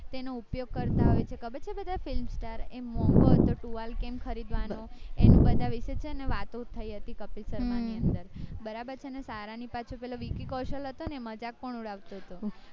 તેના ઉપયોગ કરતા હોય છે ખબર છે બધાય film star એમાં મોંઘો ટુવાલ કેમ ખરીદવાનો એમ બધાય વિચે છે ને વાતું થય હતી કપિલ શર્મા ની અંદર બરાબર છે ને સારા ની પાછળ પેલો વીકી કૌશલ હતો ને મજાક પણ ઉડાવતો હતો